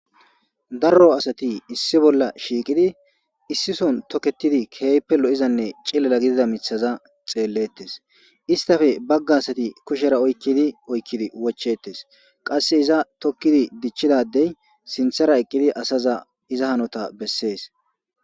darro asati issi bolla shiiqidi issi son toketidi keeype lo7izanne cilela gidida mithaza xeellettes istafe bagga asati kushera oykkidi oykkidi wochetes qasse iza tokkidi dichchidadey sinthera eqqidi asaza iza hanota bessees